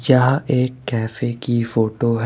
यह एक कैफे की फोटो --